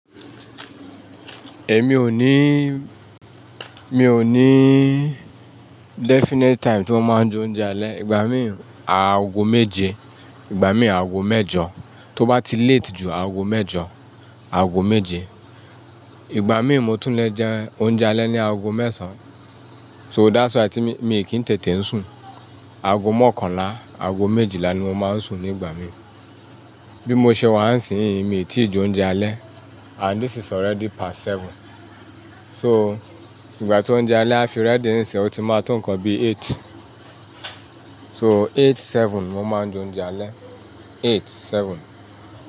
Èmi ò ní, mi ò ní definite time tí mo máa ń jẹ oúnjẹ alẹ́. Ìgbà míì aago méje, ìgbà míì aago mẹ́jọ. Tó bá ti late jù, aago mẹ́jọ, aago méje. Ìgbà míì mo tún lè jẹ oúnjẹ alẹ́ ní aago mẹ́sàn án. So that's why tí mi, mi kì n tètè ń sùn. Aago mọ́kànlá, aago méjìlá ni mo máa ń sùn ní ìgbà míì. Bí mo ṣe wà ísínyi, mi tíì jẹ oúnjẹ alẹ́ and this is already past seven. So, ìgbà tí oúnjẹ alẹ́ á fi ready ìsínyi, ó ti máa to nnkan bí eight. So eight, seven mo máa ń jẹ oúnjẹ alẹ́. Eight, seven.